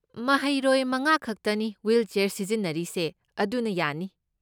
ꯃꯍꯩꯔꯣꯏ ꯃꯉꯥꯈꯛꯇꯅꯤ ꯋꯤꯜꯆꯤꯌꯥꯔ ꯁꯤꯖꯤꯟꯅꯔꯤꯁꯦ, ꯑꯗꯨꯅ ꯌꯥꯅꯤ꯫